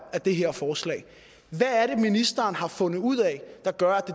af det her forslag hvad er det ministeren har fundet ud af der gør at